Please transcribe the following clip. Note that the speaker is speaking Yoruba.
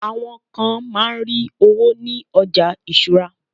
awon kan ma n ri owo ni oja isura